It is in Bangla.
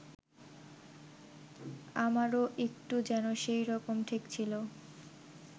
আমারও একটু যেন সেইরকম ঠেকছিল